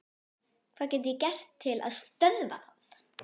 Hvað get ég gert til að stöðva það?